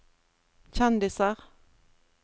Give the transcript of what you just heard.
kjendiser